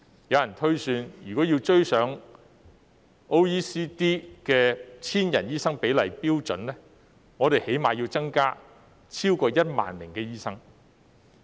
有人推算，若要追上 OECD 的每千人口醫生比例的標準，我們最低限度要增加超過1萬名醫生。